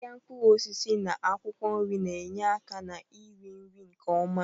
Ahịa mkpụrụ osisi na akwụkwọ nri na-enye aka na-iri nri nke ọma.